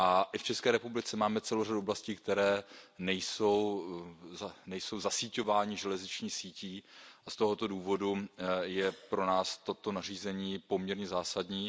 I v České republice máme celou řadu oblastí, které nejsou zasíťovány železniční sítí, a z tohoto důvodu je pro nás toto nařízení poměrně zásadní.